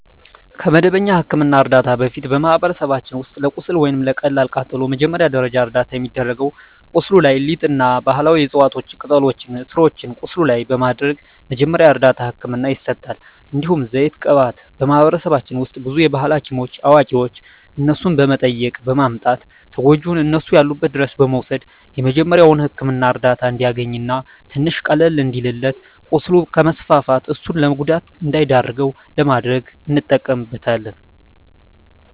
ከመደበኛ የሕክምና ዕርዳታ በፊት፣ በማኅበረሰባችን ውስጥ ለቁስል ወይም ለቀላል ቃጠሎ መጀመሪያ ደረጃ እርዳታ የሚደረገው ቁስሉ ላይ ሊጥ እና ባህላዊ የዕፅዋት ቅጠሎችን ስሮችን ቁስሉ ላይ በማድረግ መጀመሪያ እርዳታ ህክምና ይሰጣል። እንዲሁም ዘይት ቅባት በማህበረሰባችን ውስጥ ብዙ የባህል ሀኪሞች አዋቂዋች እነሱን በመጠየቅ በማምጣት ተጎጅውን እነሱ ያሉበት ድረስ በመውሰድ የመጀሪያዉ ህክምና እርዳታ እንዲያገኝ እና ትንሽ ቀለል እንዲልለት ቁስሉ ከስፋፋት እሱን ለጉዳት እንዳይዳርገው ለማድረግ እንጠቀምበታለን።